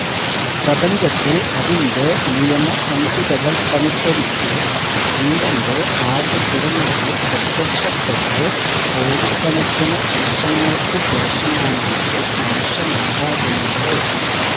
പ്രപഞ്ചത്തിൽ അതിന്റെ നിയമസംഹിതകൾക്കനുസരിച്ച് ജീവന്റെ ആദ്യകിരണങ്ങൾ പ്രത്യക്ഷപ്പെട്ട് കോടിക്കണക്കിന് വർഷങ്ങൾക്ക് ശേഷമാണല്ലോ മനുഷ്യനുണ്ടാകുന്നത്